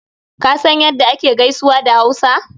Ka san ya da ake gaisuwa a Hausa?